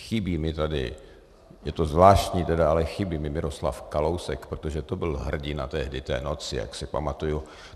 Chybí mi tady, je to zvláštní tedy, ale chybí mi Miroslav Kalousek, protože to byl hrdina tehdy té noci, jak se pamatuji.